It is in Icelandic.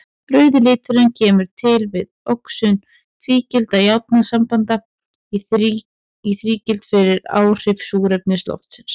Rauði liturinn kemur til við oxun tvígildra járnsambanda í þrígild fyrir áhrif súrefnis loftsins.